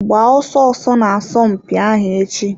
Gbaa ọsọ ọsọ n'asọmpi ahụ echi.